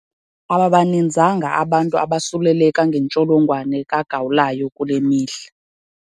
Ababaninzanga abantu abasuleleka ngentsholonwane kagawulayo kule mihla.